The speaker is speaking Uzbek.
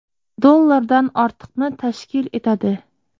dollardan ortiqni tashkil etadi.